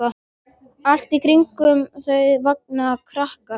Allt í kringum þau vanga krakkar.